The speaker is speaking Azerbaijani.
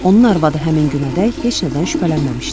Onun arvadı həmin günədək heç nədən şübhələnməmişdi.